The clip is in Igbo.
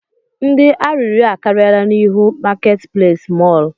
Ndị arịrịọ akarịala n'ihu marketplace mọl